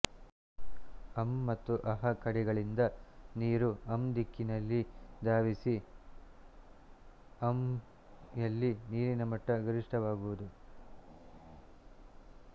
ಅಂ ಮತ್ತು ಃಂ ಕಡೆಗಳಿಂದ ನೀರು ಂ ದಿಕ್ಕಿನಲ್ಲಿ ಧಾವಿಸಿ ಂಯಲ್ಲಿ ನೀರಿನ ಮಟ್ಟ ಗರಿಷ್ಠವಾಗುವುದು